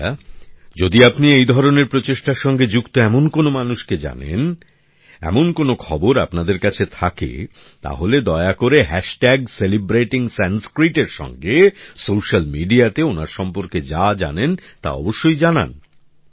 বন্ধুরা যদি আপনি এই ধরনের প্রচেষ্টার সঙ্গে যুক্ত এমন কোন মানুষকে জানেন এমন কোন খবর আপনাদের কাছে থাকে তাহলে দয়া করে সেলিব্রেটিং সংস্কৃত এর সঙ্গে সোশ্যাল মিডিয়াতে ওনার সম্পর্কে যা জানেন তা অবশ্যই জানান